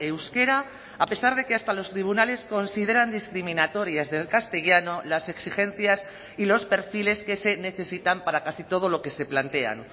euskera a pesar de que hasta los tribunales consideran discriminatorias del castellano las exigencias y los perfiles que se necesitan para casi todo lo que se plantean